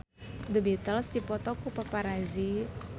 The Beatles dipoto ku paparazi